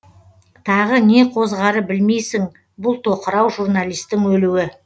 тағы не қозғары білмейсің бұл тоқырау журналистің өлуі